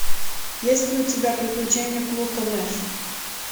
есть ли у тебя приключения плуто нэша